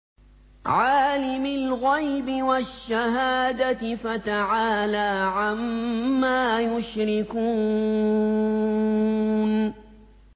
عَالِمِ الْغَيْبِ وَالشَّهَادَةِ فَتَعَالَىٰ عَمَّا يُشْرِكُونَ